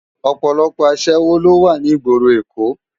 Òpòlòpò aṣèwó ló wá ni igbóró Ékó